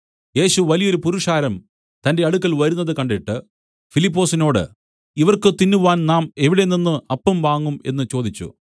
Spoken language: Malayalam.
യേശു വലിയൊരു പുരുഷാരം തന്റെ അടുക്കൽ വരുന്നത് കണ്ടിട്ട് ഫിലിപ്പൊസിനോട് ഇവർക്ക് തിന്നുവാൻ നാം എവിടെ നിന്നു അപ്പം വാങ്ങും എന്നു ചോദിച്ചു